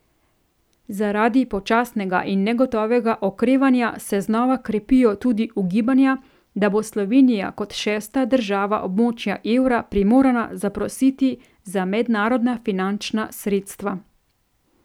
Zaradi počasnega in negotovega okrevanja se znova krepijo tudi ugibanja, da bo Slovenija kot šesta država območja evra primorana zaprositi za mednarodna finančna sredstva.